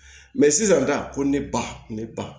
sisan ko ne ba ne ba